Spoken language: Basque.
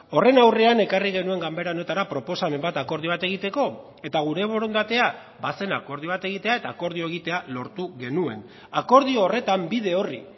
horren aurrean ekarri genuen ganbera honetara proposamen bat akordio bat egiteko eta gure borondatea bazen akordio bat egitea eta akordioa egitea lortu genuen akordio horretan bide orri